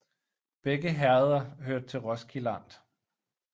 Begge herreder hørte til Roskilde Amt